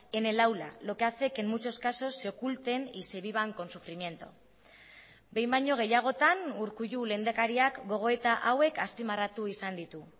en el aula lo que hace que en muchos casos se oculten y se vivan con sufrimiento behin baino gehiagotan urkullu lehendakariak gogoeta hauek azpimarratu izan ditu